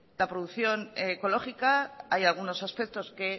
la producción ecológica hay algunos aspectos que